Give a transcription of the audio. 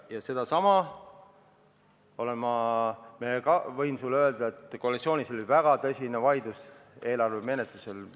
" Ma võin sulle öelda, et koalitsioonis oli eelarve menetlusel väga tõsine vaidlus.